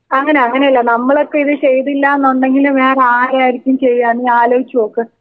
അങ്ങനെ അങ്ങനെയല്ല നമ്മളൊക്കെ ഇത് ചെയ്തില്ലാന്ന് ഉണ്ടെങ്കി വേറെ ആരായിരിക്കും ചെയ്യാ നീ അലോയിച്ച് നോക്ക്.